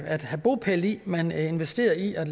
at have bopæl i man investerede i at